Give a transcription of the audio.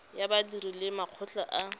ya badiri le makgotla a